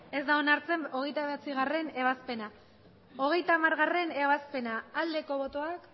ez da onartzen hogeita bederatzigarrena ebazpena hogeita hamargarrena ebazpena aldeko botoak